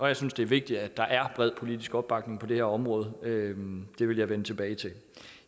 jeg synes det er vigtigt at der er bred politisk opbakning på det her område det vil jeg vende tilbage til